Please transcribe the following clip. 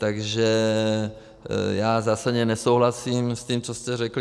Takže já zásadně nesouhlasím s tím, co jste řekl.